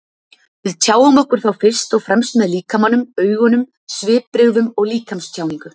Við tjáum okkur þá fyrst og fremst með líkamanum, augunum, svipbrigðum og líkamstjáningu.